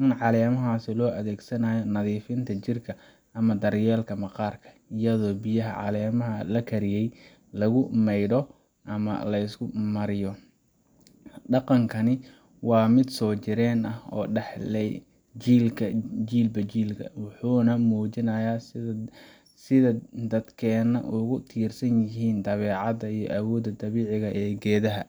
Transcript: in caleemahaas loo adeegsanayo nadiifinta jirka ama daryeelka maqaarka, iyadoo biyaha caleemaha la kariyey lagu maydho ama la isku mariyo. Dhaqankani waa mid soo jireen ah, oo la dhaxlay jiilba jiil, wuxuuna muujinayaa sida ay dadkeenna ugu tiirsan yihiin dabeecadda iyo awooda dabiiciga ah ee geedaha.